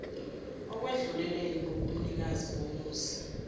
ekwedluleleni kobunikazi bomuzi